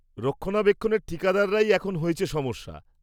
রক্ষণাবেক্ষণের ঠিকাদাররাই এখন হয়েছে সমস্যা।